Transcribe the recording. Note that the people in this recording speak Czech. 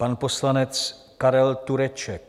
Pan poslanec Karel Tureček.